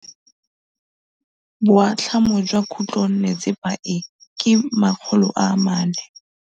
Boatlhamô jwa khutlonnetsepa e, ke 400.